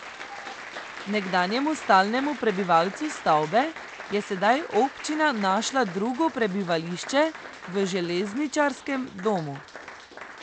Nekdanjemu stalnemu prebivalcu stavbe je sedaj občina našla drugo prebivališče v železničarskem domu.